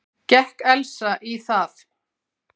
Gekk Elsa í það.